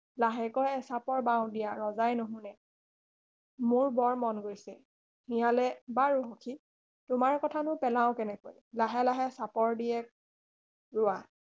লাহেকৈ এচাপৰ বাওঁ দিয়া ৰজাই নুশুনে মোৰ বৰ মন গৈছে শিয়ালে বাৰু সখী তোমাৰ কথানো পেলাওঁ কেনেকৈ লাহে লাহে চাপৰ দিয়েক বোৱা